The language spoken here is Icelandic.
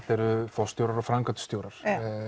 forstjórar og framkvæmdastjórar